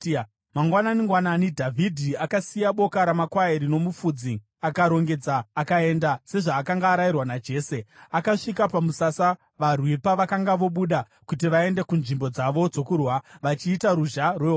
Mangwanani-ngwanani, Dhavhidhi akasiya boka ramakwai rino mufudzi, akarongedza akaenda, sezvaakanga arayirwa naJese. Akasvika pamusasa varwi pavakanga vobuda kuti vaende kunzvimbo dzavo dzokurwira, vachiita ruzha rwehondo,